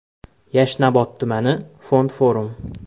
Yashnobod tumani: Fond Forum.